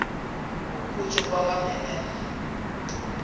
ngokutjho kwakatw bennett